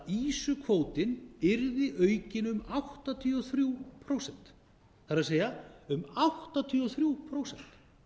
ýsukvótinn yrði aukinn um áttatíu og þrjú prósent það er um áttatíu og þrjú prósent